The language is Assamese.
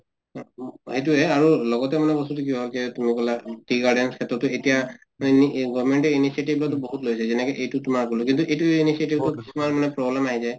সেইটোয়েই আৰু লগতে মানে বস্তুটো মানে tea garden ক্ষেত্ৰতো এতিয়া mainly government এ initiative লোৱাটো বহুত যেনেকে এইটোত তোমাৰ মানে problem নাই যে